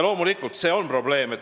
" Loomulikult on see probleem.